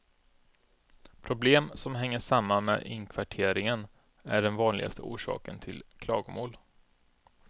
Problem som hänger samman med inkvarteringen är den vanligaste orsaken till klagomål.